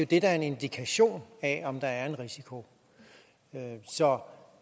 det der er en indikation af om der er en risiko så når